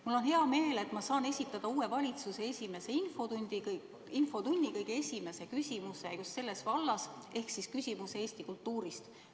Mul on hea meel, et ma saan esitada uue valitsuse esimese infotunni kõige esimese küsimuse just sellest vallast ehk Eesti kultuuri kohta.